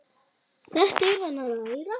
Þetta er hann að læra!